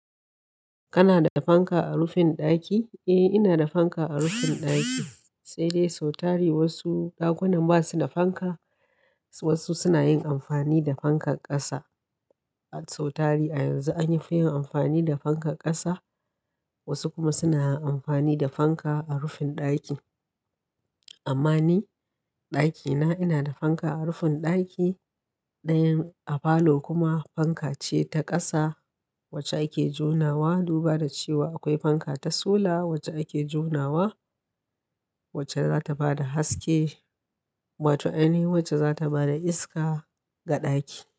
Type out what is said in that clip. Kana da fanka a rufin ɗaki? Eh, ina da fanka a rufin ɗaki. Sai dai sau tari wasu dakunan ba su da fanka. Wasu suna yin amfani da fankar ƙasa. Sau tari a yanzu an yi fiyin amfani da fankar ƙasa. Wasu kuma suna yin amfani da fanka a rufin ɗaki. Amma ni ɗakina ina da fanka a rufin ɗaki. Ɗayan a falo kuma fanka ce ta ƙasa wacce ake jonawa. Duba da cewa akwai fanka ta sola wacce ake jonawa, wacce za ta ba da haske. Wato, anyi wacce za ta bada iska ga ɗaki.